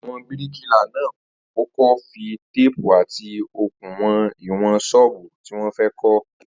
Àwo̩n bíríkìlà náà kó̩kó̩ fi téèpù àti okùn wo̩n ́ìwò̩n s̩óò̩bù tí wó̩n fé̩ kó̩